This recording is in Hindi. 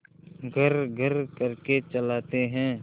घर्रघर्र करके चलाते हैं